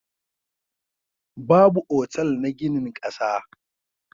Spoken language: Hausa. Babu otal na ginin ƙasa.